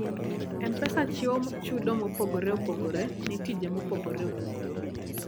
M-Pesa chiwo chudo mopogore opogore ne tije mopogore opogore.